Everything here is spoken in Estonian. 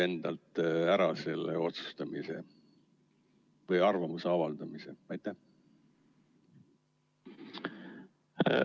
Enda pealt on otsustamise või arvamuse avaldamise kohustus nagu ära lükatud.